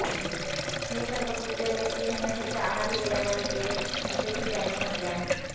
हे सर्व कृत्य लेस्लीने नशेच्या आहारी गेल्यामुळे केले असेही त्याने म्हटले आहे